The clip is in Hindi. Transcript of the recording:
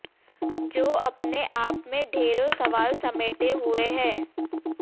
जो अपने आप में ढ़ेरो सवाल समेटे हुए है